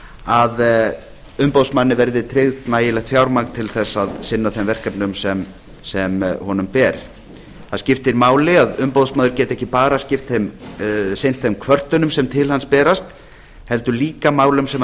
að umboðsmanni verði tryggt nægilegt fjármagn til þess að sinna þeim verkefnum sem honum ber það skiptir máli að umboðsmaður geti ekki bara sinnt þeim kvörtunum sem til hans berast heldur líka málum sem hann